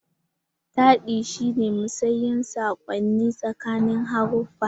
Taɗi shi ne musayar saƙonni tsakanin haruffa.